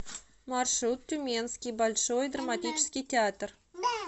маршрут тюменский большой драматический театр